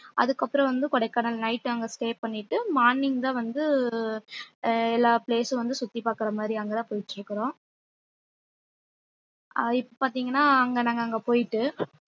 அதுக்கப்புறம் வந்து கொடைக்கானல் night அங்க stay பண்ணிட்டு morning தான் வந்து ஒரு அஹ் எல்லா place ம் வந்து சுத்தி பாக்குற மாதிரி அங்கதான் போயிட்டு இருக்குறோம் ஆஹ் இப்ப பார்த்தீங்கன்னா அங்க நாங்க அங்க போயிட்டு